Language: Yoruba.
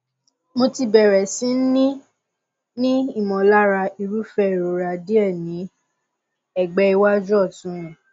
mo ti bẹrẹ sí ní ní ìmọlára irúfẹ ìrora díẹ ní ẹgbẹ iwájú ọtún mi